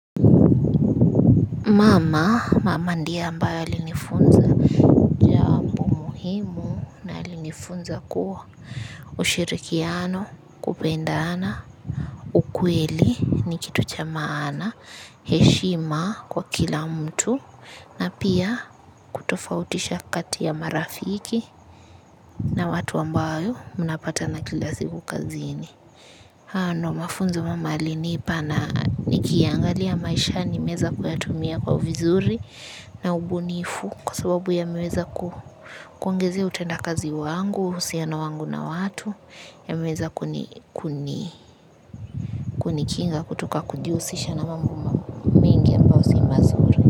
Mama, mama ndiye ambaye alinifunza muhimu, na alinifunza kuwa ushirikiano, kupendana, ukweli, ni kitu cha maana heshima kwa kila mtu, na pia kutofautisha kati ya marafiki na watu ambayo mnapatana kila siku kazini. Hayo ndio mafunzo mama alinipa na nikiangalia maishani nimeweza kuyatumia kwa vizuri na ubunifu kwa sababu yameweza kuongezea utendakazi wangu, uhusiano wangu na watu, yameweza kunikinga kutoka kujihusisha na mambo mengi ambayo si mazuri.